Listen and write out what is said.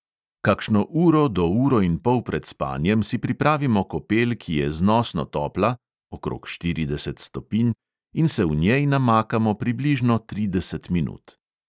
Kakšno uro do uro in pol pred spanjem si pripravimo kopel, ki je znosno topla (okrog štirideset stopinj), in se v njej namakamo približno trideset minut.